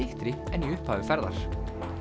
en í upphafi ferðar